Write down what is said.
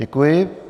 Děkuji.